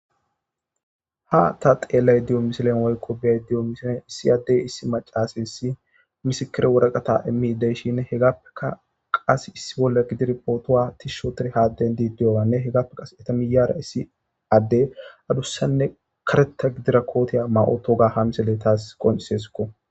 ha ta xeelay diyo misilen woykqo bey diyo misilen issi addey issi macaase issi misikire woraqata immideyshin hegappeka qas issi bolla gidir pootowa tishshotire haadden diiddiyoanne hegappe qas eta miyara issi addey adussanne kareta gidira kootiya ma7otoga ha misele taas qoncisesko